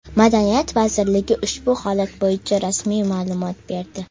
Madaniyat vazirligi ushbu holat bo‘yicha rasmiy ma’lumot berdi .